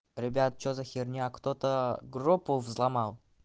ребят что за херня кто-то группу взломал